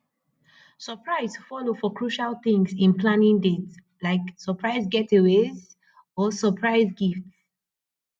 surprise follow for crucial things in planning dates like surprise getaways or surprise gifts